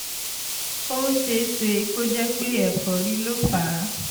ó ṣe é ṣe kó jẹ́ pé ẹ̀fọ́rí ló fà á